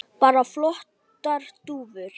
Bara flottar dúfur.